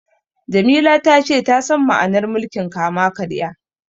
Jamila ta ce ta san ma'anar mulkin kama-karya.